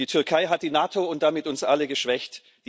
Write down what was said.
Die Türkei hat die NATO und damit uns alle geschwächt.